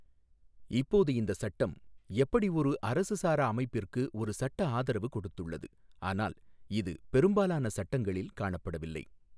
இப்போது இந்த சட்டம் எப்படி ஒரு அரசு சாரா அமைப்பிற்கு ஒரு சட்டஆதரவு கொடுத்துள்ளது ஆனால் இது பெரும்பாலான சட்டங்களில் காணப்படவில்லை.